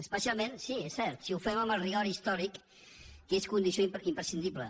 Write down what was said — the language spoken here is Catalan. especialment sí és cert si ho fem amb el rigor històric que és condició imprescindible